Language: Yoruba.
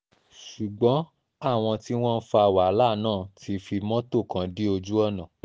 ṣùgbọ́n àwọn tí wọ́n ń fa wàhálà náà ti fi mọ́tò kan dí ojú ọ̀nà